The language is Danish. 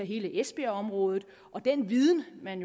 hele esbjergområdet og den viden man